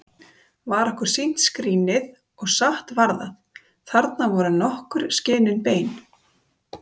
Var okkur sýnt skrínið, og satt var það: Þarna voru nokkur skinin bein!